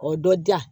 O dɔ diya